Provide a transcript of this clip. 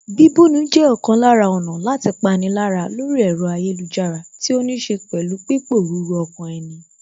Bíbúni jẹ́ ọ̀kan lára ọ̀nà láti pani lára lórí ẹ̀rọ ayélujára tí ó níṣe pẹ̀lú pípòruru ọkàn ẹni